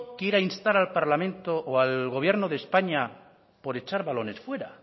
quiera instar al parlamento o al gobierno de españa por echar balones fuera